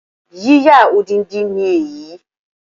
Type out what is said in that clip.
Yíyà odindi ni èyí